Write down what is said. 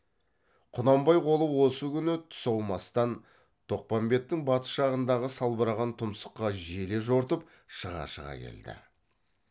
құнанбай қолы осы күні түс аумастан тоқпамбеттің батыс жағындағы салбыраған тұмсыққа желе жортып шыға шыға келді